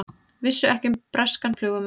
Vissu ekki um breskan flugumann